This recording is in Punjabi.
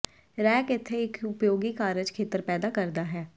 ਰੈਕ ਇੱਥੇ ਇੱਕ ਉਪਯੋਗੀ ਕਾਰਜ ਖੇਤਰ ਪੈਦਾ ਕਰਦਾ ਹੈ